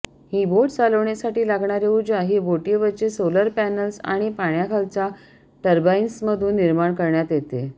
ही boat चालवण्यासाठी लागणारी ऊर्जा ही बोटीवरचे सोलर पॅनल्स आणि पाण्याखालच्या टर्बाईन्समधून निर्माण करण्यात येते